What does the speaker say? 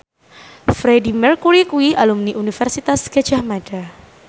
Freedie Mercury kuwi alumni Universitas Gadjah Mada